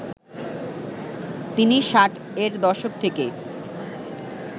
তিনি ষাট এর দশক থেকে